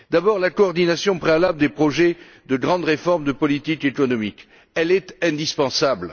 D'abord, la coordination préalable des projets de grandes réformes des politiques économiques, qui est indispensable.